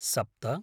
सप्त